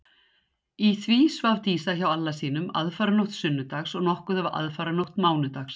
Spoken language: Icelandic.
Í því svaf Dísa hjá Alla sínum aðfaranótt sunnudags og nokkuð af aðfaranótt mánudags.